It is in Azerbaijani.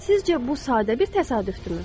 Sizcə bu sadə bir təsadüfdürmü?